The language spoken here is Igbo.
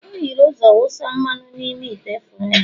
o hiere ụzọ wụsa mmanụ n'ime ite frying